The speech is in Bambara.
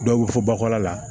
Dɔw bɛ fɔ bakɔla la